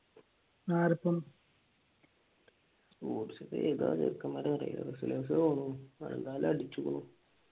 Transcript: സ്പോർട്സിലെ ഏതാ ചെറുക്കന്മാർ എന്നറിയില്ല പക്ഷെ നല്ല അടിച്ചിക്കുണു